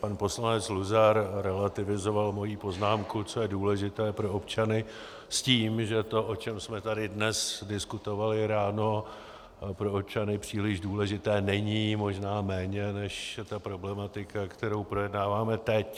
Pan poslanec Luzar relativizoval moji poznámku, co je důležité pro občany, s tím, že to, o čem jsme tady dnes diskutovali ráno, pro občany příliš důležité není, možná méně než ta problematika, kterou projednáváme teď.